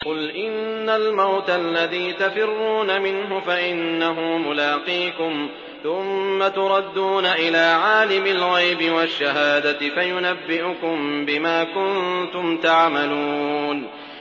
قُلْ إِنَّ الْمَوْتَ الَّذِي تَفِرُّونَ مِنْهُ فَإِنَّهُ مُلَاقِيكُمْ ۖ ثُمَّ تُرَدُّونَ إِلَىٰ عَالِمِ الْغَيْبِ وَالشَّهَادَةِ فَيُنَبِّئُكُم بِمَا كُنتُمْ تَعْمَلُونَ